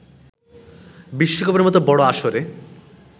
বিশ্বকাপের মতো বড় আসরে